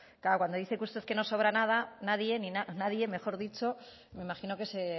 claro cuando dice usted que no sobra nadie me imagino que se